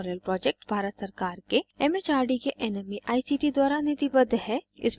spoken tutorial project Bharat सरकार के M H R D के nmeict द्वारा निधिबद्ध है